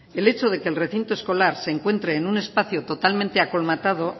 el hecho de que el recinto escolar se encuentre en un espacio totalmente colmatado